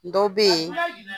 Dɔ bɛ yen. A suguya jumɛn?